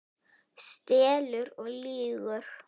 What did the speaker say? Stelur og lýgur!